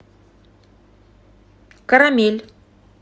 карамель